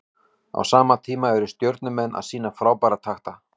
Á sama tíma eru Stjörnumenn að sýna frábæra takta.